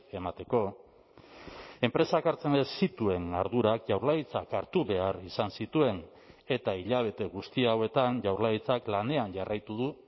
emateko enpresak hartzen ez zituen ardurak jaurlaritzak hartu behar izan zituen eta hilabete guzti hauetan jaurlaritzak lanean jarraitu du